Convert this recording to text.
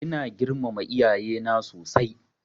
Ina girmama iyaye na sosai.